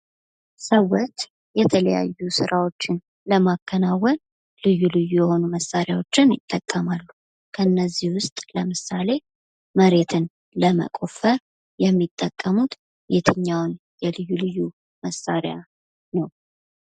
ሰዎች የተለያዩ ሰራወችን ለማከናዎን ልዩ ልዩ መሳሪያዎችን ይጠቀማሉ። ከነዚህም ውስጥ ለምሳሌ መሬትን ለመቆፈር የሚጠቀሙት የትኛውን የልዩ ልዩ መሳሪያ ነው?